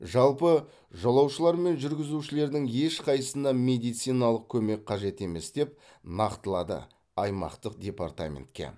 жалпы жолаушылар мен жүргізушілердің ешқайсысына медициналық көмек қажет емес деп нақтылады аймақтық департаментте